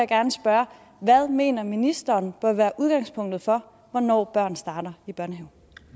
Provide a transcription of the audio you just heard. gerne spørge hvad mener ministeren bør være udgangspunktet for hvornår børn starter i børnehave